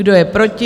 Kdo je proti?